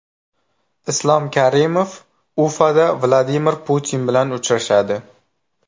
Islom Karimov Ufada Vladimir Putin bilan uchrashadi.